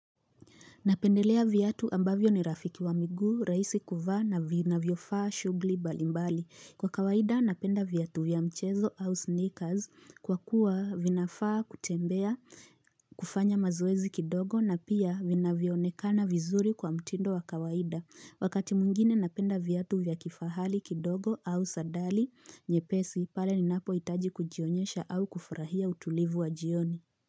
Napendelea vyatu ambavyo ni rafiki wa migu, raisi kuva na vinavyofaa shugli mbalimbali. Kwa kawaida napenda vyatu vya mchezo au sneakers kwa kuwa vinafaa kutembea kufanya mazoezi kidogo na pia vinavyonekana vizuri kwa mtindo wa kawaida. Wakati mwingine napenda vyatu vya kifahali kidogo au sadali nyepesi pale ninapo itaji kujionyesha au kufarahia utulivu wa jioni.